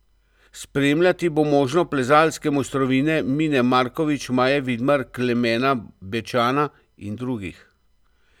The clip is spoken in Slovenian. Spremljati bo možno plezalske mojstrovine Mine Markovič, Maje Vidmar, Klemena Bečana in drugih.